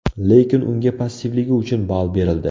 Lekin unga passivligi uchun ball berildi.